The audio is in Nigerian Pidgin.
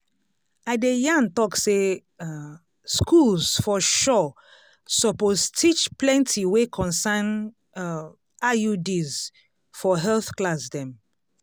i de yan tok say um schools for sure suppose teach plenti wey concern um iuds for health class dem